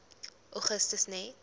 augustus net